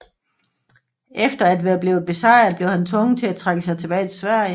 Efter at være blevet besejret blev han tvunget til at trække sig tilbage til Sverige